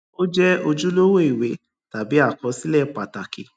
ó jẹ ojúlówó ìwé tàbí àkọsílẹ pàtàkì